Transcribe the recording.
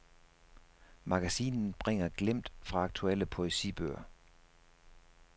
Magasinet bringer glimt fra aktuelle poesibøger.